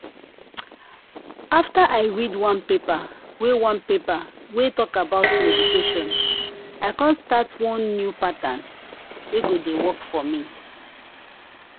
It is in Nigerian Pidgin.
after i read one paper wey one paper wey talk about meditation i come start one new pattern wey go dey work for me.